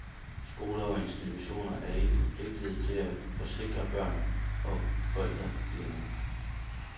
Skoler og institutioner er ikke forpligtede til at forsikre børn, og forældrene glemmer det.